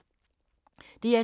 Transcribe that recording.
DR2